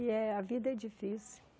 E eh a vida é difícil.